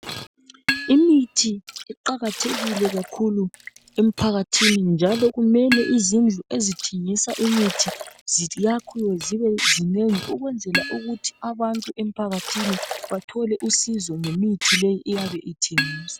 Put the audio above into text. Imithi iqakathekile kakhulu emphakathini njalo kumele izindlu ezithengisa imithi ziyakhiwe zibe zinengi ukwenzela ukuthi abantu emphakathini bathole usizo ngemithi eyabe ithengiswa